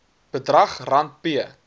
bedrag rand p